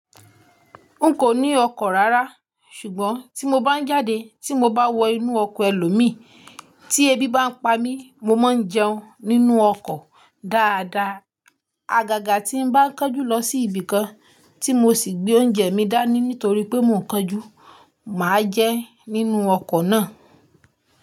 N kò ní ọkọ̀ rárá, ṣùgbọ́n tí mo bá ń jáde tí mo bá wọ inú ọkọ̀ ẹlòmíin tí ebi bá ń pa mí, mo máa ń jẹun nínú ọkọ̀ dáadáa. Àgàgà tí ń bá ń kánjú lọ sí ibìkan tí mo sì gbé oúnjẹ mi dání nítorí pé mò ń kánjú, mà á jẹ nínú ọkọ̀ náà.